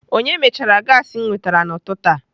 Onye mechara gaasị m nwetara n'ututu a?